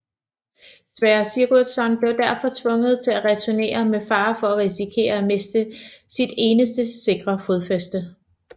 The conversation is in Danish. Sverre Sigurdsson blev derfor tvunget til at returnere med fare for at risikere at miste sit eneste sikre fodfeste